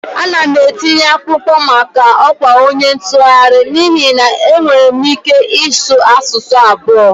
Ana m etinye akwụkwọ maka ọkwa onye ntụgharị n'ihi na ama m ike ịsụ asụsụ abụo